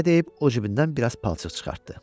Belə deyib, o cibindən bir az palçıq çıxartdı.